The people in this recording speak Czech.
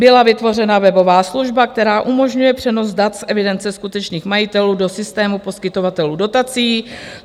Byla vytvořena webová služba, která umožňuje přenos dat z evidence skutečných majitelů do systému poskytovatelů dotací.